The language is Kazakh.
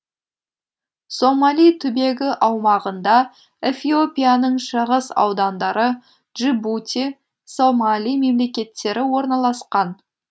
сомали түбегі аумағында эфиопияның шығыс аудандары джибути сомали мемлекеттері орналасқан